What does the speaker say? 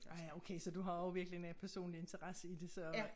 Ah ja okay så du har også virkelig en personlig interesse i det så